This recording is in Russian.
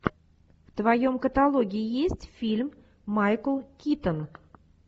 в твоем каталоге есть фильм майкл китон